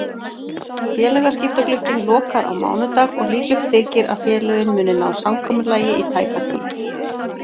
Félagaskiptaglugginn lokar á mánudag og líklegt þykir að félögin muni ná samkomulagi í tæka tíð.